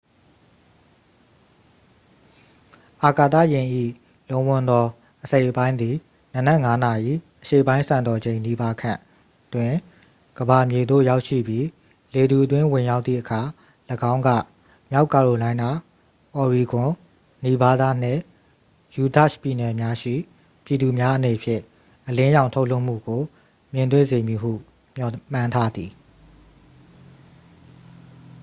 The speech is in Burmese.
အာကာသယာဉ်၏ လုံးဝန်းသော အစိတ်အပိုင်းသည် နံနက် ၅ နာရီ အရှေ့ပိုင်းစံတော်ချိန် နီးပါးခန့်တွင် ကမ္ဘာမြေသို့ ရောက်ရှိပြီး လေထုအတွင်း ဝင်ရောက်သည့်အခါ ၎င်းက မြောက်ကာရိုလိုင်းနား၊ အော်ရီဂွန်၊ နီဗားဒါးနှင့် ယူတာ့ရှ်ပြည်နယ်များရှိ ပြည်သူများအနေဖြင့် အလင်းရောင်ထုတ်လွှတ်မှုကို မြင်တွေ့စေမည်ဟု မျှော်မှန်းထားသည်။